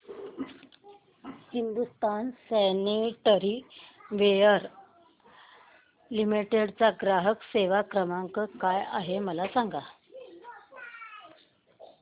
Hindustan sanitaryware limited चा ग्राहक सेवा क्रमांक काय आहे मला सांगा